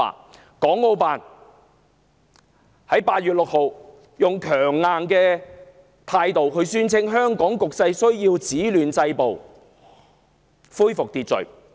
國務院港澳事務辦公室8月6日語氣強硬地宣稱，香港需要止暴制亂，恢復秩序。